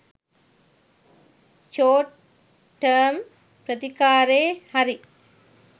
short term ප්‍රතිකාරේ හරි